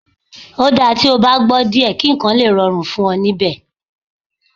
Ó dáa tí o bá gbọ́ díẹ̀ kí nǹkan lè rọrùn fún ẹ níbẹ̀